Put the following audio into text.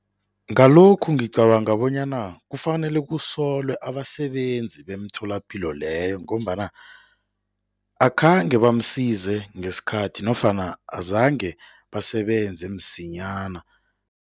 Ngalokhu ngicabanga bonyana kufanele kusolwe abasebenzi beemtholapilo leyo ngombana akhange bamsize ngesikhathi nofana azange basebenze msinyana.